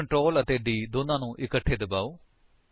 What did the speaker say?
ਹੁਣ ਕੰਟਰੋਲ ਅਤੇ d ਦੋਨਾਂ ਨੂੰ ਇਕੱਠੇ ਦਬਾਓ